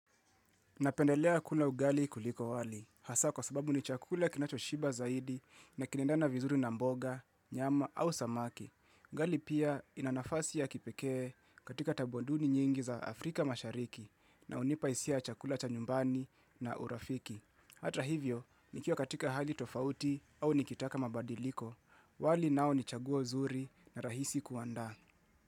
Napendelea kula ugali kuliko wali, hasa kwa sababu ni chakula kinacho shiba zaidi na kinaendana vizuri na mboga, nyama au samaki. Ugali pia inanafasi ya kipekee katika tabuanduni nyingi za Afrika mashariki na hunipa hisia ya chakula cha nyumbani na urafiki. Hata hivyo, nikiwa katika hali tofauti au nikitaka mabadiliko, wali nao ni chaguo nzuri na rahisi kuandaa.